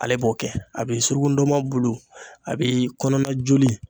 Ale b'o kɛ a be suruku ndɔnmɔn bulu a bi kɔnɔna joli